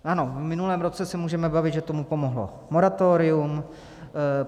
Ano, v minulém roce se můžeme bavit, že tomu pomohlo moratorium.